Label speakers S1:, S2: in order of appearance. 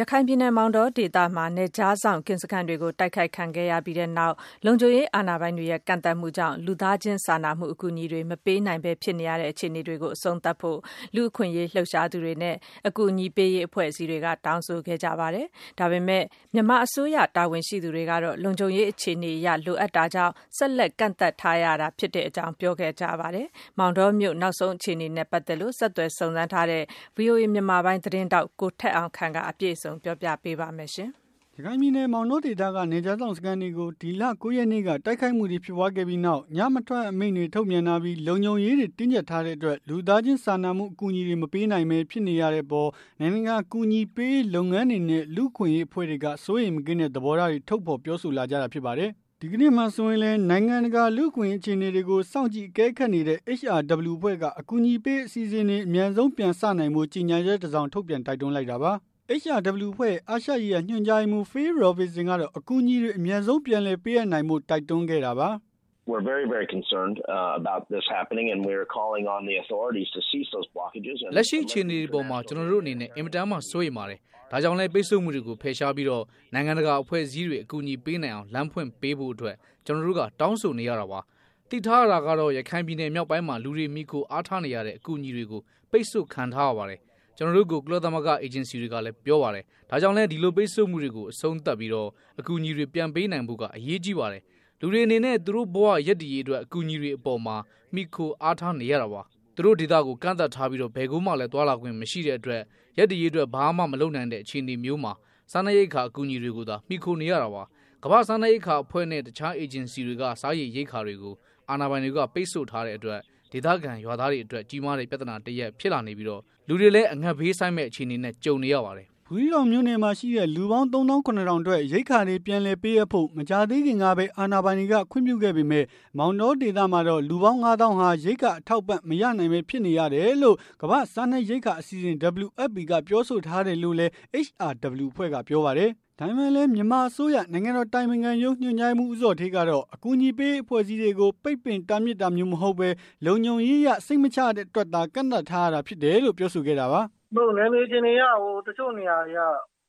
S1: ရခိုင်ပြည်နယ် မောင်တောဒေသမှာ နယ်ခြားစောင့်ကင်းစခန်းတွေကို တိုက်ခိုက်ခံခဲ့ရပြီးနောက်၊ လုံခြုံရေးအာဏာပိုင်တွေရဲ့ ကန့်သတ်မှုတွေကြောင့် လူသားချင်းစာနာမှု အကူအညီတွေ မပေးနိုင်ပဲဖြစ်နေရတဲ့ အခြေအနေတွေကို အဆုံးသတ်ဖို့ လူ့အခွင့်အရေး လှုပ်ရှားသူတွေနဲ့ အကူအညီပေးရေး အဖွဲ့အစည်းတွေက တောင်းဆိုလိုက်ကြပါတယ်။ ဒါပေမဲ့လည်း မြန်မာအစိုးရ တာဝန်ရှိသူတွေကတော့ လုံခြုံရေးအခြေအနေအရ လိုအပ်တာကြောင့် ဆက်လက်ကန့်သတ်ထားရတာသာ ဖြစ်တဲ့အကြောင်း ပြောဆိုခဲ့ကြတာပါ။ မောင်တောမြို့ နောက်ဆုံးအခြေအနေနဲ့ ပတ်သက်လို့ ဆက်သွယ်စုံစမ်းထားတဲ့ ဗွီအိုအေ မြန်မာပိုင်း သတင်းထောက် ထက်အောင်ခန့်က အပြည့်
S2: အစုံ ပြောပြပေးမှာ ဖြစ်ပါတယ်။
S1: ရခိုင်ပြည်နယ် မောင်တောဒေသက နယ်ခြားစောင့်ရဲစခန်းတွေကို ဒီလ ၉ ရက်နေ့က တိုက်ခိုက်မှုတွေ ဖြစ်ပွားခဲ့ပြီးနောက်၊ ညမထွက်ရအမိန့် ထုတ်ပြန်ထားပြီး လုံခြုံရေးအတွက် တင်းကျပ်ထားတဲ့အတွက် လူသားချင်းစာနာမှု အကူအညီတွေ မပေးနိုင်ဘဲ ဖြစ်နေရတဲ့အပေါ် နိုင်ငံတကာအကူအညီပေးရေး လုပ်ငန်းတွေနဲ့ လူ့အခွင့်အရေးအဖွဲ့တွေက စိုးရိမ်မကင်းတဲ့ သဘောထားတွေ ထုတ်ဖော်ပြောဆိုလာကြတာ ဖြစ်ပါတယ်။ ဒီကနေ့မှာ ဆိုရင်လည်း နိုင်ငံတကာက လူ့အခွင့်အရေး အခြေအနေတွေ ကို စောင့်ကြည့် အကဲခတ်နေတဲ့ HRW အဖွဲ့က အကူအညီပေးရေးအစီအစဉ်တွေ အမြန်ဆုံးပြန်စနိုင်ဖို့ ကြေညာချက်တစောင် ထုတ်ပြန် တိုက်တွန်းလိုက်တာပါ။ HRW အဖွဲ့ရဲ့ အာရှရေးရာ ဒုတိယညွှန်ကြားရေးမှူး Phil Robertson ကတော့ အကူအညီတွေ အမြန်ဆုံးပြန်လည်ပေးအပ်နိုင်ဖို့ တိ
S2: ုက်တွန်းခဲ့တာပါ။ “လက်ရှိအခြေအနေအပေါ်မှာ ကျနော်တို့ အနေနဲ့ အင်မတန်မှ စိုးရိမ်ပါတယ်။ ဒါကြောင့်လည်း ပိတ်ဆို့မှုတွေကို ဖယ်ရှားပြီး၊ နိုင်ငံတကာ အဖွဲ့အစည်းတွေ အကူအညီပေးနိုင်အောင် လမ်းဖွင့်ပေးဖို့ ကျနော်တို့က တောင်းဆိုနေရတာပါ။ သိထားရတာကတော့ ရခိုင်ပြည်နယ် မြောက်ပိုင်းမှာ လူတွေမှီခိုအားထားနေရတဲ့ အကူအညီတွေကို ပိတ်ဆို့ခံထားရပါတယ်။ ကျနော်တို့ကို ကုလသမဂ္ဂ အေဂျင်စီတွေ ကလည်း ပြောပါတယ်။ ဒါကြောင့်လည်း ဒီလိုပိတ်ဆို့မှုတွေကို အဆုံးသတ်ပြီး၊ အကူအညီတွေ ပြန်ပေးနိုင်ဖို့က အရေးကြီးပါတယ်။ လူတွေအနေနဲ့ သူတို့ဘ၀ ရပ်တည်ရေးအတွက် အကူအညီတွေအပေါ်မှာ အားကိုးနေရတာပါ။ သူတို့ဒေသကို ကန့်သတ်ထားပြီး၊ ဘယ်ကိုမှလည်း သွားလာခွင့်မရှိတဲ့အတွက် ရပ်တည်ရေးအတွက် ဘာမှ မလုပ်နိုင်တဲ့အခြေအနေမျိုးမှာ စားနပ်ရိက္ခာ အကူအညီတွေကိုသာ မှီခိုနေရတာပါ။ ကမ္ဘာ့စားနပ်ရိက္ခာအဖွဲ့နဲ့ တခြားအေဂျင်စီတွေက စားရေရိက္ခာတွေကို အာဏာပိုင်တွေက ပိတ်ဆို့ထားတဲ့ အတွက် ဒေသခံရွာသားတွေအတွက် ကြီးမားတဲ့ ပြဿနာတရပ် ဖြစ်လာနေပြီး၊ လူတွေလည်း အငတ်ဘေးဆိုက်မယ့် အခြေအနေနဲ့ ကြုံနေရပါတယ်။” ဘူးသီးတောင်
S1: မြို့နယ်မှာရှိတဲ့ လူပေါင်း ၃၇၀၀၀ အတွက် ရိက္ခာတွေ ပြန်လည်ပေး အပ်ဖို့ မကြာသေးခင်ကပဲ အာဏာပိုင်တွေက ခွင့်ပြုခဲ့ပေမဲ့၊ မောင်တော် ဒေသ မှာတော့ လူပေါင်း ၅ သောင်းဟာ ရိက္ခာအထောက်အပံ့ မရနိုင်ပဲ ဖြစ်နေရတယ်လို့ ကမ္ဘာ့စားနပ်ရိက္ခာအစီအစဉ် က ပြောဆိုထားတယ်လို့လည်း HRW အဖွဲ့ကပြောပါတယ်။ ဒါပေမဲ့လည်း မြန်မာအစိုးရ နိုင်ငံတော်အတိုင်ပင်ခံရုံး ညွှန်ကြားရေးမှူး ဦးဇော်ဌေး ကတော့ အကူအညီပေးရေး အဖွဲ့အစည်းတွေကို ပိတ်ပင်တားမြစ်တာမျိုး မဟုတ်ဘဲ လုံခြုံရေးအရ စိတ်မချရတဲ့အတွက်သာ ကန့်သတ်ထားရတာ ဖြစ်တယ် လို့ ပြောဆိုခဲ့ တာပါ။ " နယ်မြေအခြေအနေအရ တချို့နေရာတွေက